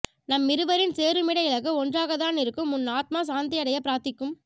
நம் இருவரின் சேருமிட இலக்கு ஒன்றாகதானிருக்கும் உன் ஆத்மா சாந்தியடைய பிராத்திக்கும்